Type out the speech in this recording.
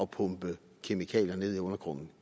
pumpe kemikalier ned i undergrunden